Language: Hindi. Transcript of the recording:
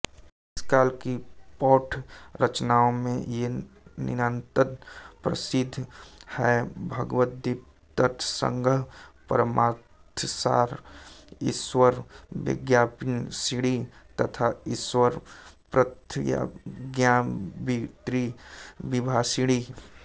इस काल की प्रौढ़ रचनाओं में ये नितांत प्रसिद्ध हैंभगवद्गीतार्थसंग्रह परमार्थसार ईश्वरप्रत्यभिज्ञाविमर्शिणी तथा ईश्वरप्रत्यभिज्ञाविवृतिविमर्शिणी